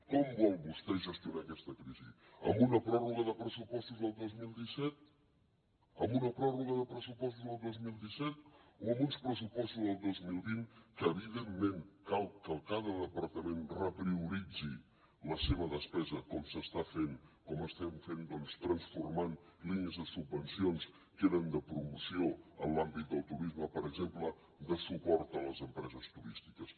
com vol vostè gestionar aquesta crisi amb una pròrroga de pressupostos del dos mil disset amb una pròrroga de pressupostos del dos mil disset o amb uns pressupostos del dos mil vint que evidentment cal que cada departament reprioritzi la seva despesa com s’està fent com estem fent doncs transformant línies de subvencions que eren de promoció en l’àmbit del turisme per exemple de suport a les empreses turístiques